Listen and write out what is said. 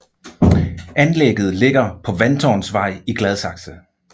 Anlægget ligger på Vandtårnsvej i Gladsaxe